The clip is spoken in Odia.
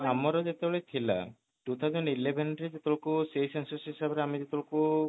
ଆମର ଯେତେବେଳେ ଥିଲା two thousand eleven ରେ ସେଇ census ହିସାବ ରେ ଅଆମେ ସେଟବେଳକୁ